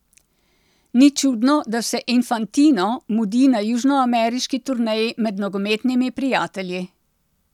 Ni čudno, da se Infantino mudi na južnoameriški turneji med nogometnimi prijatelji.